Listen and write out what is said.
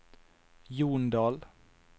Jondal